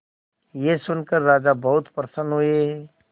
यह सुनकर राजा बहुत प्रसन्न हुए